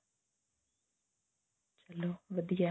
ਚਲੋ ਵਧੀਆ